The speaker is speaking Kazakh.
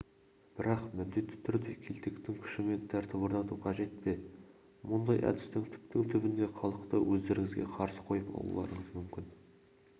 бірақ міндетті түрде келтектің күшімен тәртіп орнату қажет пе мұндай әдіспен түптің-түбінде халықты өздеріңізге қарсы қойып алуларыңыз мүмкін